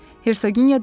Hersoginya dedi.